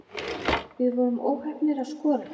Við vorum óheppnir að skora ekki